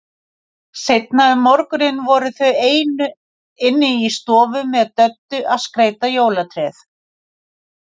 Seinna um morguninn voru þau ein inni í stofu með Döddu að skreyta jólatréð.